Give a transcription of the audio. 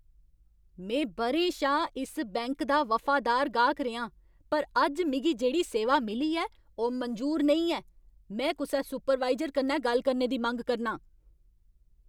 में ब'रें शा इस बैंक दा वफादार गाह्क रेहा आं, पर अज्ज मिगी जेह्ड़ी सेवा मिली ऐ ओह् मंजूर नेईं ऐ। में कुसै सुपरवायजर कन्नै गल्ल करने दी मंग करनां !